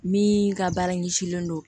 Min ka baara ɲɛsinnen don